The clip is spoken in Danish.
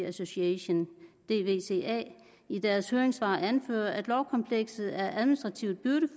association dvca i deres høringssvar anfører at lovkomplekset er administrativt